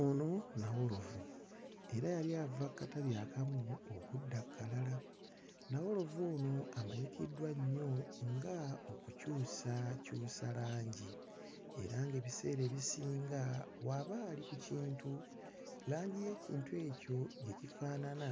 Ono nawolovu. Era yali ava ku katabi akamu okudda ku kalala. Nawolovu ono amanyikiddwa nnyo nga okukyusakyusa langi. Era ng'ebiseera ebisinga bw'aba ali ku kintu, langi y'ekintu ekyo gye kifaanana